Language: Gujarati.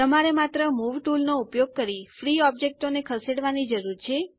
તમારે માત્ર મૂવ ટુલ નો ઉપયોગ કરી ફ્રી ઓબ્જેક્ટો ને ખસેડવાની જરૂર છે